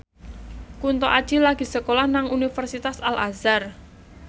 Kunto Aji lagi sekolah nang Universitas Al Azhar